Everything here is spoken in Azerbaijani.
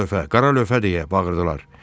Qara lövhə, qara lövhə deyə bağırdılar.